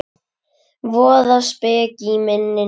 Voða speki í minni núna.